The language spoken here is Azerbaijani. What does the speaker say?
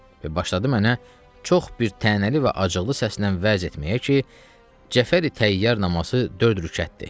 Və başladı mənə çox bir tənəli və acıqlı səslə vəz etməyə ki, Cəfəri Təyyar namazı dörd rükətdir.